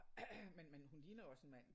Men men hun ligner jo også en mand altså